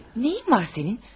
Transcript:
Nəyin var sənin?